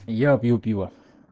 я пью пиво